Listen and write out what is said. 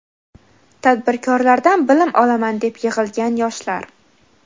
Tadbirkorlardan bilim olaman deb yig‘ilgan yoshlar.